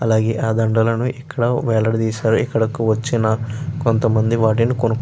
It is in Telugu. అలాగే ఆ దండలను ఇక్కడ వేలాడ తీశారు. ఇక్కడకి వచ్చిన కొంతమంది వాటిని కొనుకొ --